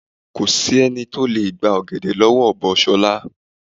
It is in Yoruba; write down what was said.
Ko sé̩ni tó lè gba ò̩gè̩dè̩ ló̩wó̩ ọ̀bọ S̩o̩la.